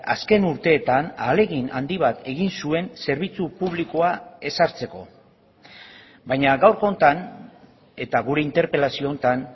azken urteetan ahalegin handi bat egin zuen zerbitzu publikoa ezartzeko baina gaurko honetan eta gure interpelazio honetan